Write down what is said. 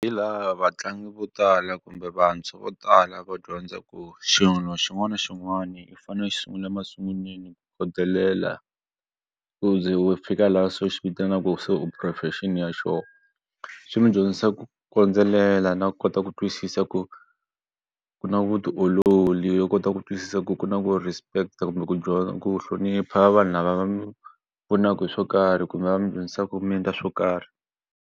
Hi laha vatlangi vo tala kumbe vantshwa vo tala va dyondza ku xilo xin'wana na xin'wana i fane u xi sungula masunguleni ku khodelela u ze u fika laha se xi vitanaka se u profession ya xoho. Swi mi ku dyondzisa ku kondzelela na kota ku twisisa ku ku na vutiolori yo kota ku twisisa ku ku na ku respect kumbe ku dyondza ku hlonipha vanhu lava va mu pfunaka hi swo karhi kumbe va mi dyondzisa ku mi endla swo karhi.